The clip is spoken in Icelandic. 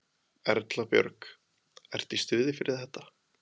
Erla Björg: Ertu í stuði fyrir þetta?